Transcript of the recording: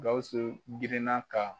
Gawusu girinna ka